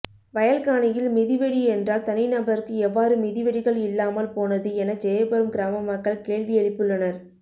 வயல் காணியில் மிதிவெடி என்றால் தனிநபருக்கு எவ்வாறு மிதிவெடிகள் இல்லாமல் போனது என ஜெயபுரம் கிராம மக்கள் கேள்வி எழுப்பியுள்ளனர்